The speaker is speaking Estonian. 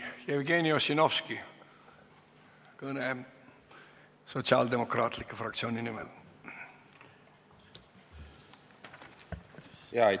Jevgeni Ossinovski, kõne Sotsiaaldemokraatliku Erakonna fraktsiooni nimel!